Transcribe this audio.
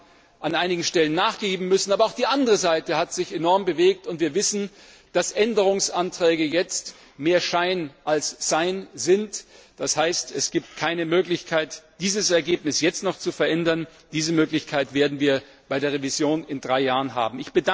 Wir haben an einigen Stellen nachgeben müssen, aber auch die andere Seite hat sich enorm bewegt, und wir wissen, dass Änderungsanträge jetzt mehr Schein als Sein sind, das heißt, es gibt keine Möglichkeit, dieses Ergebnis jetzt noch zu verändern. Diese Möglichkeit werden wir bei der Revision in drei Jahren haben.